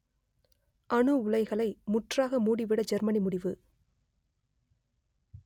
அணு உலைகளை முற்றாக மூடிவிட ஜெர்மனி முடிவு